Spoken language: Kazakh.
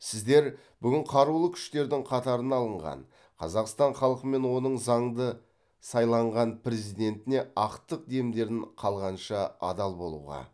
сіздер бүгін қарулы күштердің қатарына алынған қазақстан халқы мен оның заңды сайланған президентіне ақтық демдерін қалғанша адал болуға